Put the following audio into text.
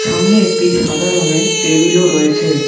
সামনে একটি সাদা রঙের টেবিলও রয়েছে।